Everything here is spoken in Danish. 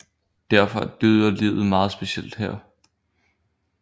Derfor er dyrelivet meget specielt her